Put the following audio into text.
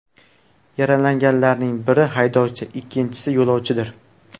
Yaralanganlarning biri haydovchi, ikkinchisi yo‘lovchidir.